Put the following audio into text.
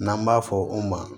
N'an b'a fɔ o ma